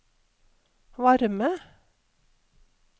varme